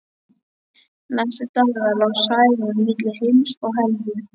Næstu daga lá Særún milli heims og helju.